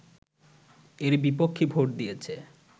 এর বিপক্ষে ভোট দিয়েছে